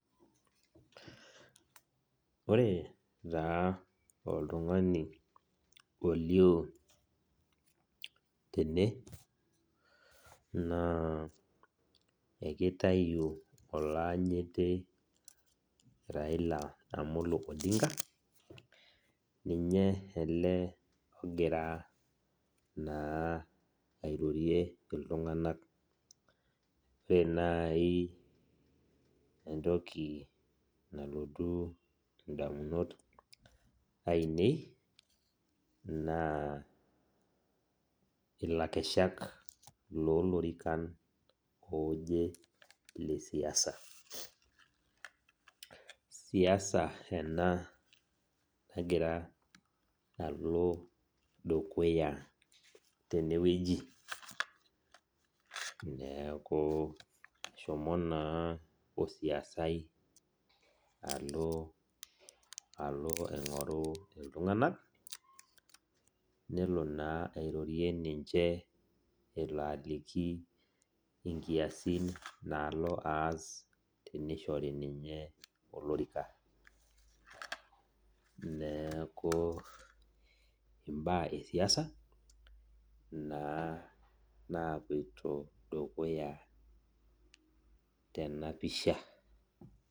Ore taa oltungani olio tene na ekitau oloanyiti raila amolo odinga, ninye na ogira airorie ltunganak pa ore nai entoki nalotu ndamunot ainei na ilakeshak lolorikan aje lesiasa siasa enabnagira alo dukuya tenewueji neaku eshomo na osiasai alo aingoru ltunganak nelo na airorie ninche elo aliki nkiasin naalo aas tenishori ninye olorika neaku mbaa esiaisa naloito dukuya tenapisha.